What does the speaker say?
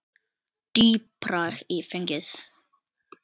Dýpra í fenið